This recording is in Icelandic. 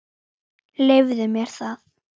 Leyfðu mér það,